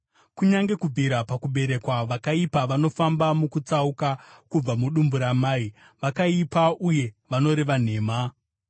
Kunyange kubvira pakuberekwa, vakaipa vanofamba mukutsauka; kubva mudumbu ramai, vakaipa uye vanoreva nhema.